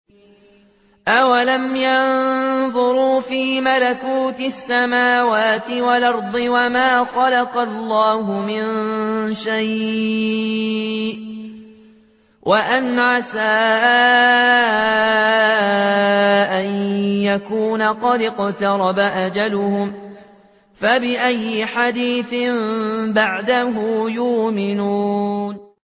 أَوَلَمْ يَنظُرُوا فِي مَلَكُوتِ السَّمَاوَاتِ وَالْأَرْضِ وَمَا خَلَقَ اللَّهُ مِن شَيْءٍ وَأَنْ عَسَىٰ أَن يَكُونَ قَدِ اقْتَرَبَ أَجَلُهُمْ ۖ فَبِأَيِّ حَدِيثٍ بَعْدَهُ يُؤْمِنُونَ